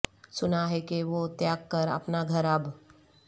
سنا ہے کہ وہ تیاگ کر اپنا گھر اب